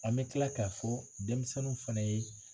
An bɛ tila k'a fɔ denmisɛnninw fana ye.